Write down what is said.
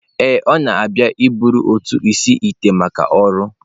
Ee, ọ na-abịa iburu otu isi-ite maka ọrụ